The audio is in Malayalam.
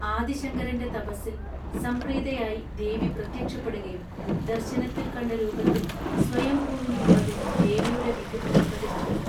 ആദിശങ്കരന്റെ തപസിൽ സംപ്രീതയായി ദേവി പ്രത്യക്ഷപ്പെടുകയും ദർശനത്തിൽ കണ്ട രൂപത്തിൽ സ്വയംഭൂവിനു പുറകിൽ ദേവിയുടെ വിഗ്രഹം പ്രതിഷ്ഠിച്ചു